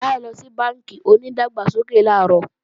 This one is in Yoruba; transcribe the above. Táyọ̀ lọ sí bánkì onídàgbàsókè làárọ̀